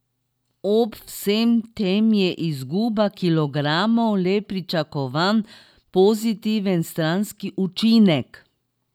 Ob vsem tem je izguba kilogramov le pričakovan pozitiven stranski učinek.